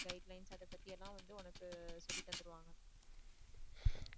guidelines அதைப் பத்தியெல்லாம் வந்து உனக்கு சொல்லி தந்துருவாங்க.